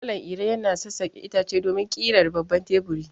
Malam Iro yana sassaƙe itace domin ƙirar babban teburi.